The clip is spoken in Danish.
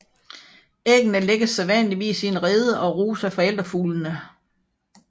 Æggene lægges sædvanligvis i en rede og ruges af forældrefuglene